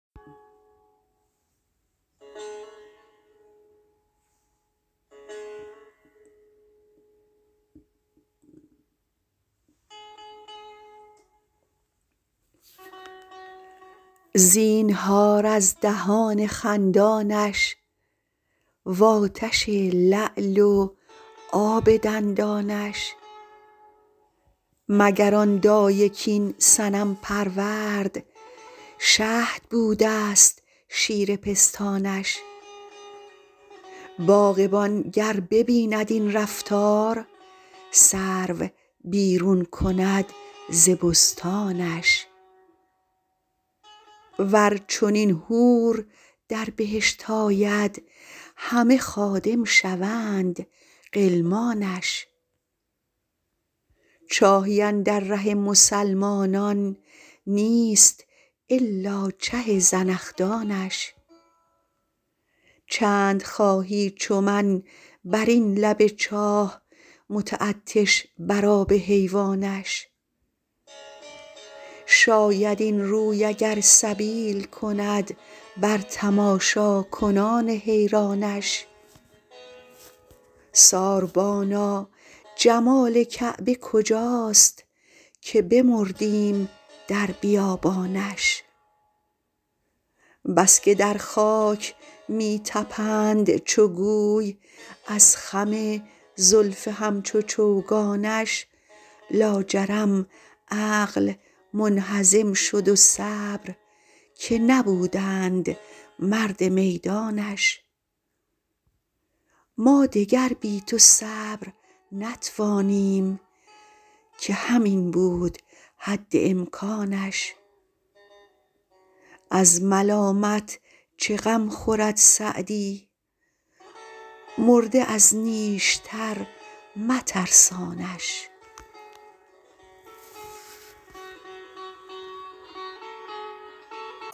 زینهار از دهان خندانش و آتش لعل و آب دندانش مگر آن دایه کاین صنم پرورد شهد بوده ست شیر پستانش باغبان گر ببیند این رفتار سرو بیرون کند ز بستانش ور چنین حور در بهشت آید همه خادم شوند غلمانش چاهی اندر ره مسلمانان نیست الا چه زنخدانش چند خواهی چو من بر این لب چاه متعطش بر آب حیوانش شاید این روی اگر سبیل کند بر تماشاکنان حیرانش ساربانا جمال کعبه کجاست که بمردیم در بیابانش بس که در خاک می طپند چو گوی از خم زلف همچو چوگانش لاجرم عقل منهزم شد و صبر که نبودند مرد میدانش ما دگر بی تو صبر نتوانیم که همین بود حد امکانش از ملامت چه غم خورد سعدی مرده از نیشتر مترسانش